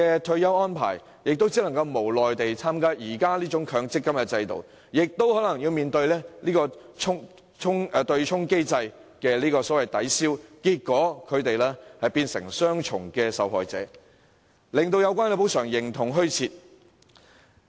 他們只能無奈地受制於強積金制度下的退休安排，更可能要面對對沖機制的抵銷，變成雙重受害者，最終使有關補償形同虛設。